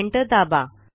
enter दाबा